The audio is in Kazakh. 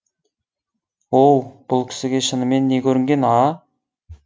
оу бұл кісіге шынымен не көрінген а